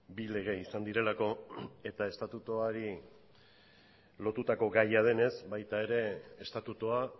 bi lege izan direlako eta estatutuari lotutako gaia denez baita ere estatutua